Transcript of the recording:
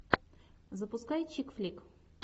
запускай чик флик